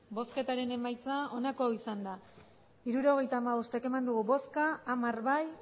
hirurogeita hamabost eman dugu bozka hamar bai